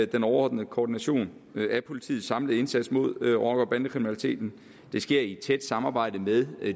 den overordnede koordination af politiets samlede indsats mod rocker og bandekriminaliteten det sker i et tæt samarbejde med